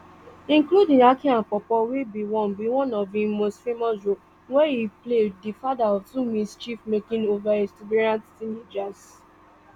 including aki and paw paw wey be one be one of im most famous roles wia e play di father of two mischiefmaking overexuberant teenagers